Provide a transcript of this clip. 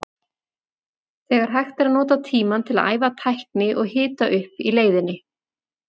Þegar hægt er að nota tímann til að æfa tækni og hita upp í leiðinni.